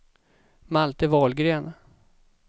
Malte Wahlgren